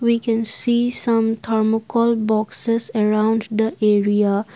we can see some thermocol boxes around the area.